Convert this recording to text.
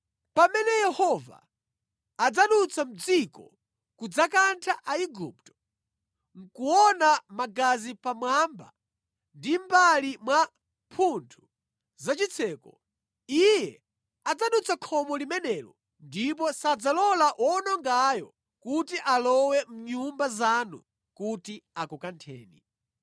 Pamene Yehova adzadutsa mʼdziko kudzakantha Aigupto, nʼkuona magazi pamwamba ndi mʼmbali mwa mphuthu za chitseko, Iye adzadutsa khomo limenelo ndipo sadzalola woonongayo kuti alowe mʼnyumba zanu kuti akukantheni.